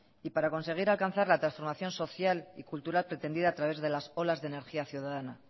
y para conseguir alcanzar la transformación social y cultural pretendida a través de las olas de energía ciudadana